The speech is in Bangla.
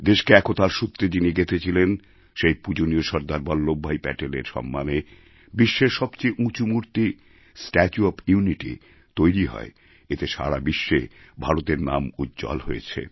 দেশকে একতার সূত্রে যিনি গেঁথেছিলেন সেই পূজনীয় সর্দার বল্লভভাই প্যাটেলের সম্মানে বিশ্বের সবচেয়ে উঁচু মূর্তি স্ট্যাচু ওএফ ইউনিটি তৈরি হয় এতে সারা বিশ্বে ভারতের নাম উজ্জ্বল হয়েছে